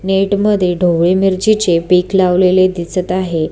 Net मध्ये ढोबळी मिरची चे पिक लावलेले दिसत आहे.